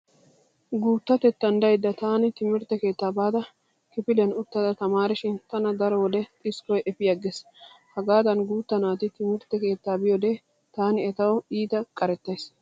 Guuttatettan daydda taani timirtte keettaa baada kifiliyan uttada tamaarishin tana daro wode xiskkoy efiyaggees. Hegaadan guutta naati timirtte keettaa biyode taani etawu iita qarettays.